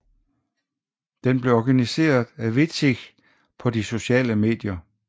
Den blev organiseret af Vidsich på de sociale medier